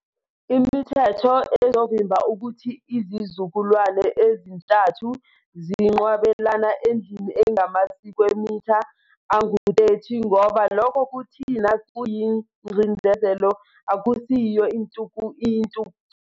Imithetho ezovimba ukuthi izizukulwane ezintathu zinqwabelane endlini engamasikwemitha angu 30 ngoba lokho kuthina kuyingcindezelo akusiyo intuthuko.